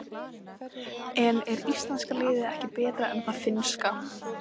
En er íslenska liðið ekki betra en það finnska?